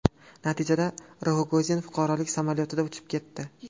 Natijada Rogozin fuqarolik samolyotida uchib ketdi.